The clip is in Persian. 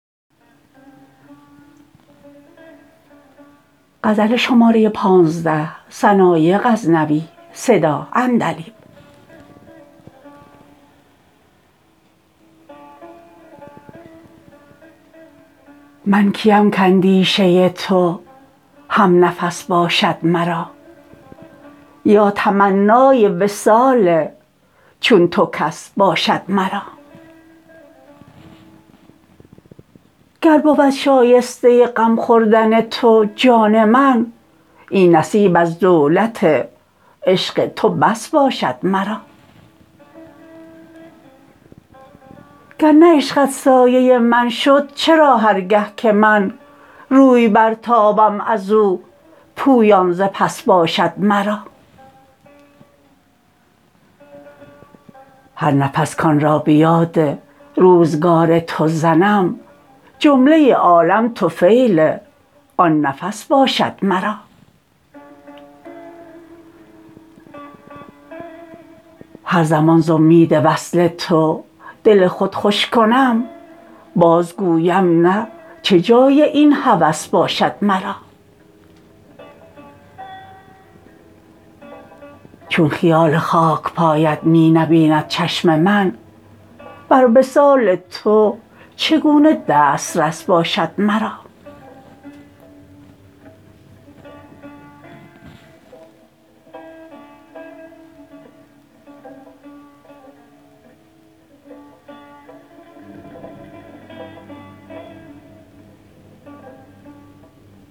من کی ام کاندیشه تو هم نفس باشد مرا یا تمنای وصال چون تو کس باشد مرا گر بود شایسته غم خوردن تو جان من این نصیب از دولت عشق تو بس باشد مرا گر نه عشقت سایه من شد چرا هر گه که من روی برتابم ازو پویان ز پس باشد مرا هر نفس کان را به یاد روزگار تو زنم جمله عالم طفیل آن نفس باشد مرا هر زمان ز امید وصل تو دل خود خوش کنم باز گویم نه چه جای این هوس باشد مرا چون خیال خاک پایت می نبیند چشم من بر وصال تو چگونه دسترس باشد مرا